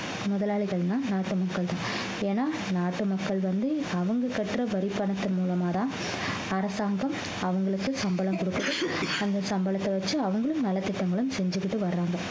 முதலாளிகள்னா நாட்டு மக்கள்தான் ஏன்னா நாட்டு மக்கள் வந்து அவங்க கட்டுற வரிப்பணத்தின் மூலமாதான் அரசாங்கம் அவங்களுக்கு சம்பளம் கொடுக்குது அந்த சம்பளத்தை வச்சு அவங்களும் நலத்திட்டங்களும் செஞ்சுக்கிட்டு வர்றாங்க